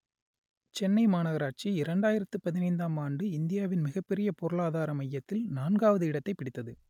சென்னை மாநகராட்சி இரண்டாயிரத்து பதினைந்தாம் ஆண்டு இந்தியாவின் மிகப்பெரிய பொருளாதார மையத்தில் நான்காவது இடத்தைப் பிடித்தது